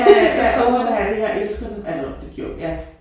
Ja ja uha jeg elsker det altså det gjorde ja